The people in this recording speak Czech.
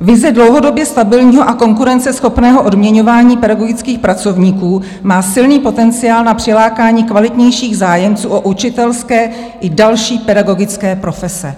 "Vize dlouhodobě stabilního a konkurenceschopného odměňování pedagogických pracovníků má silný potenciál na přilákání kvalitnějších zájemců o učitelské i další pedagogické profese."